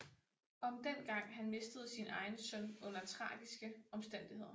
Om dengang han mistede sin egen søn under tragiske omstændigheder